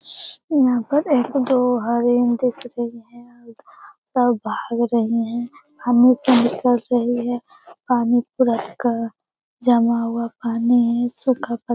इहाँ पर एक दो हरेन दिख रहीं हैं और सब भाग रहीं हैं पानी से निकल रही है पानी पूरा क जमा हुआ पानी है सूखा पत --